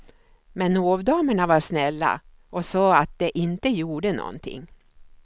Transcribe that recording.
Men hovdamerna var snälla och sade att det inte gjorde något.